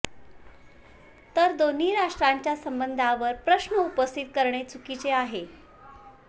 तर दोन्ही राष्ट्रांच्या संबंधांवर प्रश्न उपस्थित करणे चुकीचे आहे